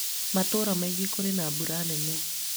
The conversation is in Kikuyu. matura mangĩ kũrĩ na mbura nene